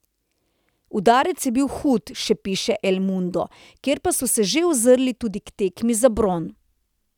Udarec je bil hud, še piše El Mundo, kjer pa so se že ozrli tudi k tekmi za bron.